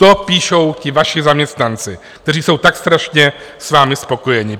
To píšou ti vaši zaměstnanci, kteří jsou tak strašně s vámi spokojeni.